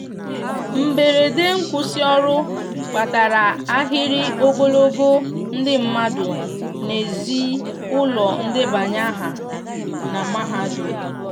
mgberede nkwusi ọrụ kpatara ahịrị ogologo ndi madu n'ezi ụlọ ndebanye aha na mahadum